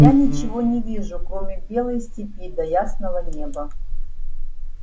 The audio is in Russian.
я ничего не вижу кроме белой степи да ясного неба